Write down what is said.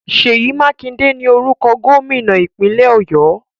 Sèyí Mákindé ni orúkọ Gómìnà ìpínlẹ̀ Ọ̀yọ́